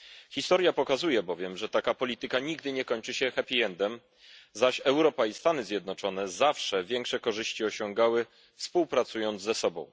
Historia pokazuje bowiem, że taka polityka nigdy nie kończy się happy endem, zaś Europa i Stany Zjednoczone zawsze większe korzyści osiągały współpracując ze sobą.